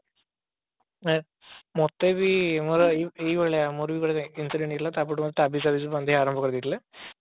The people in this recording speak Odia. ଆ ମତେ ବି ହଁ ବା ଏଇ ଭଳିଆ ଆମର ବି ଘରେ incident ହେଇଥିଲା ତାପରଠୁ ଆମେ ତାବିଜ ଫାବିଜ ସବୁ ବାନ୍ଧିବା ଆରମ୍ଭ କରିଦେଇଥିଲେ